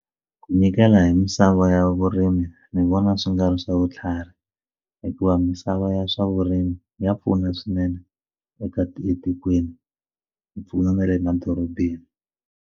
Ku nyikela hi misava ya vurimi ni vona swi nga ri swa vutlhari hikuva misava ya swa vurimi ya pfuna swinene eka ti etikweni yi pfuna na le madorobeni.